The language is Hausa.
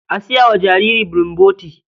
A saya wa jariri bulomboti.